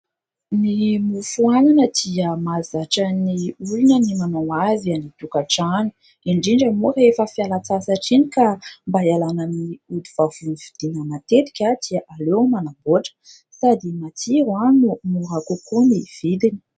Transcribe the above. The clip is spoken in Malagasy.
Ny mofo anana dia mahazatra ny olona ny manao azy any an-tokantrano, indrindra moa rehefa fialan-tsasatra iny ka mba hialana amin'ny ody vavony vidiana matetika dia aleo manamboatra. Sady matsiro no mora kokoa ny vidiny.